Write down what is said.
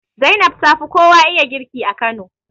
Zainab tafi kowa iya girki a Kano